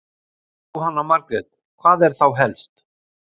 Jóhanna Margrét: Hvað er þá helst?